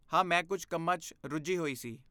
ਹਾਂ! ਮੈਂ ਕੁਝ ਕੰਮਾਂ 'ਚ ਰੁੱਝੀ ਹੋਈ ਸੀ।